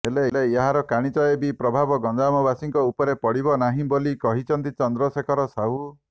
ହେଲେ ଏହାର କାଣିଚାଏ ବି ପ୍ରଭାବ ଗଞ୍ଜାମବାସୀଙ୍କ ଉପରେ ପଡ଼ିବ ନାହିଁ ବୋଲି କହିଛନ୍ତି ଚନ୍ଦ୍ରଶେଖର ସାହୁ